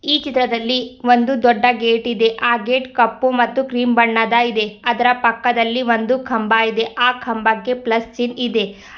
ಈ ಚಿತ್ರದಲ್ಲಿ ಒಂದೂ ದೊಡ್ಡ ಗೇಟ್ ಇದೆ ಆ ಗೇಟ್ ಕಪ್ಪು ಮತ್ತು ಕ್ರೀಮ್ ಬಣ್ಣದ ಇದೆ ಅದ್ರ ಪಕ್ಕದಲ್ಲಿ ಒಂದು ಕಂಬಾ ಇದೆ ಆ ಕಂಬಕ್ಕೆ ಪ್ಲಸ್ ಚಿನ್ ಇದೆ.